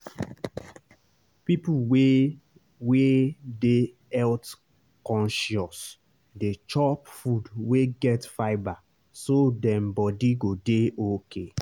people wey wey dey health-conscious dey chop food wey get fibre so dem body go dey okay.